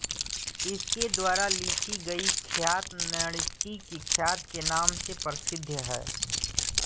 इसके द्वारा लिखी गई ख्यात नैणसी की ख्यात के नाम से प्रसिद्ध है